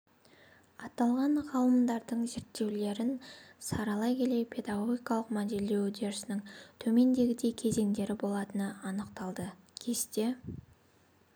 аталған ғалымдардыңзерттеулерін саралай келе педагогикалық модельдеу үдерісінің төмендегідей кезеңдері болатыны анықталды кесте